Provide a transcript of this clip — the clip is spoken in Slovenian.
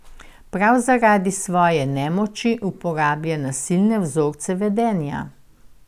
Prav zaradi svoje nemoči uporablja nasilne vzorce vedenja.